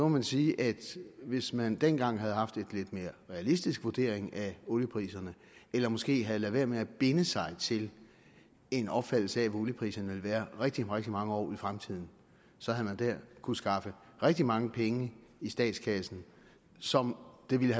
man sige at hvis man dengang havde haft en lidt mere realistisk vurdering af oliepriserne eller måske havde ladet være med at binde sig til en opfattelse af hvad oliepriserne ville være rigtig rigtig mange år ud i fremtiden så havde man der kunnet skaffe rigtig mange penge i statskassen som det ville